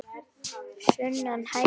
Sunna: Hærri laun?